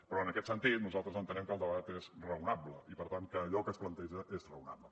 però en aquest sentit nosaltres entenem que el debat és raonable i per tant que allò que es planteja és raonable